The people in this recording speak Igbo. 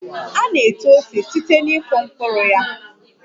A na-eto ose site na ịkụ mkpụrụ ya